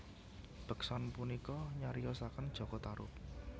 Beksan punika nyariosaken Jaka Tarub